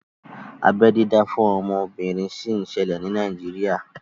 Abeẹ dídá fún obìnrin sì ń ṣẹlẹ̀ ní Nàíjírìà